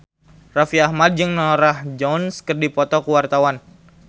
Raffi Ahmad jeung Norah Jones keur dipoto ku wartawan